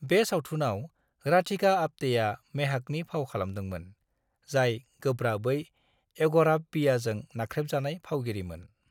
बे सावथुनाव राधिका आप्टेआ मेहाकनि फाव खालामदोंमोन, जाय गोब्राबै एग'राफबियाजों नाख्रेबजानाय फावगिरिमोन।